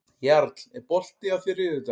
Jarl, er bolti á þriðjudaginn?